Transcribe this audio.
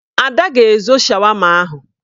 Ada ga-ezo shawama ahụ